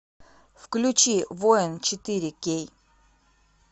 включи воин четыре кей